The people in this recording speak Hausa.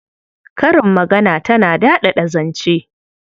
Karin magana tana daɗaɗa zance.